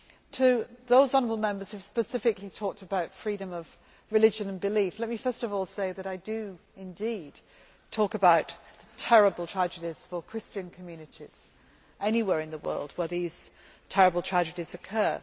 To those honourable Members who specifically talked about freedom of religion and belief, let me first of all say that I do indeed talk about the terrible tragedies for Christian communities anywhere in the world where these terrible tragedies occur.